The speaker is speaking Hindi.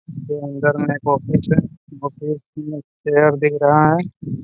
जो अंदर में एक ऑफिस है ऑफिस में चेयर दिख रहा है।